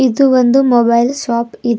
ಇದು ಒಂದು mobile shop ಇದ್--